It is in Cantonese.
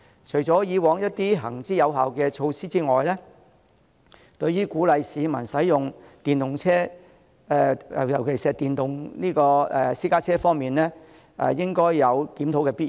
除了以往一些行之有效的措施之外，對於鼓勵市民使用電動車，尤其是電動私家車方面，應該有檢討的必要。